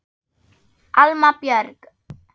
Alma Björk.